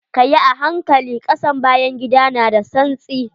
Kayi a hankali, ƙasan bayan gida na da tsantsi.